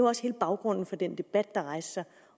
også hele baggrunden for den debat der rejste sig